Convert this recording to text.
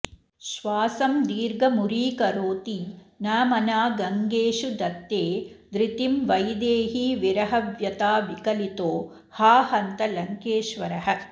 श्वासं दीर्घमुरीकरोति न मना गङ्गेषु धत्ते धृतिं वैदेहीविरहव्यथाविकलितो हा हन्त लङ्केश्वरः